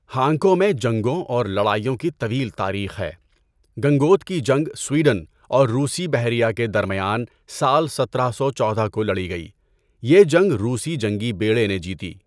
Hanko میں جنگوں اور لڑائیوں کی طویل تاریخ ہے۔ گنگوت کی جنگ سویڈن اور روسی بحریہ کے درمیان سال سترہ سو چودہ کو لڑی گئی۔ یہ جنگ روسی جنگی بیڑے نے جیتی۔